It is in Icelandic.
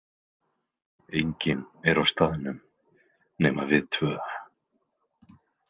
Enginn er á staðnum nema við tvö.